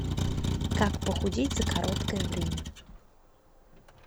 как похудеть за короткое время